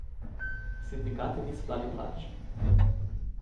Sindikati niso dali plač.